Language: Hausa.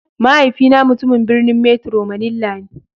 Mahaifina mutumin birnin metro manilla ne.